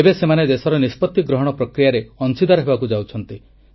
ଏବେ ସେମାନେ ଦେଶର ନିଷ୍ପତ୍ତି ଗ୍ରହଣ ପ୍ରକ୍ରିୟାରେ ଅଂଶୀଦାର ହେବାକୁ ଯାଉଛନ୍ତି